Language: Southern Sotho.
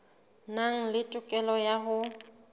nang le tokelo ya ho